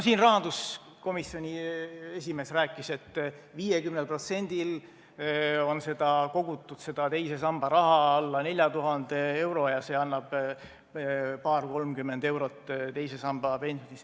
Siin rahanduskomisjoni esimees rääkis, et 50%-l on kogutud seda teise samba raha alla 4000 euro ja see annab paar-kolmkümmend eurot teise samba pensioniks.